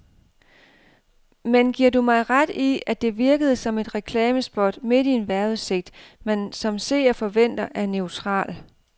Men giver du mig ret i, at det virkede som et reklamespot midt i en vejrudsigt, man som seer forventer er neutral.